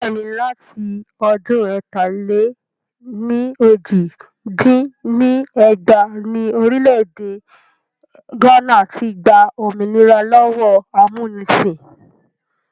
Bẹ́ẹ̀ni, láti ọdún ẹ̀ta-lé-ní-ojì dín ní ẹgbàá ni Orílẹ̀ èdè gánà ti gbà òmìnira lọ́wọ́ amúnisìn